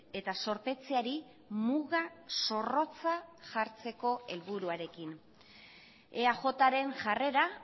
eta zorpetzeari muga zorrotza jartzeko helburuarekin eajren jarrera